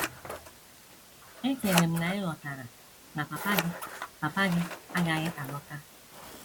Echere m na ị ghọtara na papa gị papa gị agaghị alọta. ”